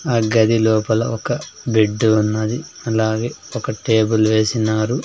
ఆ గది లోపల ఒక బెడ్డు ఉన్నది అలాగే ఒక టేబుల్ వేసినారు.